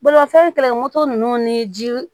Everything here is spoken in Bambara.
Bolimafɛn tala moto ninnu ni ji